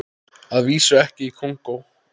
Að vísu ekki í Kongó.